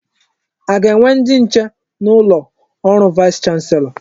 A ga-enwe ndi nche n'ụlọ ọrụ vaịs chanselọ?